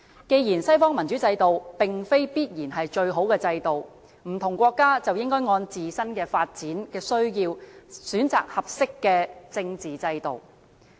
既然西方民主制度並非必然是最好的制度，不同國家便應該按自身的發展需要，選擇合適的政治制度。